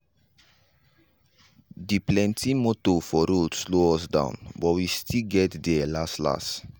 de plenti motor for road slow us down but we still get there last last.